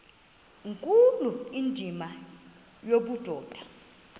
nkulu indima yobudoda